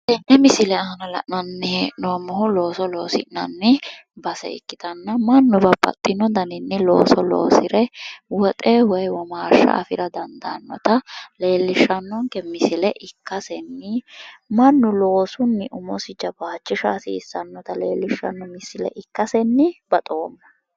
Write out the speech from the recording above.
Tenne misile aana la'nanni hee'noommohu looso loosi'nanni base ikkitanna mannu babbaxino garinni looso loosire woxe woy womaashsha afira dandaannota leellishshannonke misile ikkasenni mannu loosunni umosi jawaachisha hasiisannota leellishshanno misile ikkasenni baxoomma